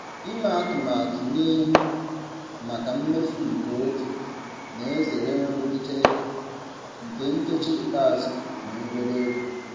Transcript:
Ịme atụmatụ n'ihu maka mmefu nke oge na-ezere nrụgide ego nke nkeji ikpeazụ na obere ego.